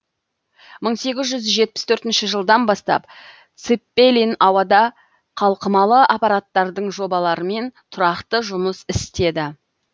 мың сегіз жүз жетпіс төртінші жылдан бастап цеппелин ауада қалқымалы аппараттардың жобаларымен тұрақты жұмыс істеді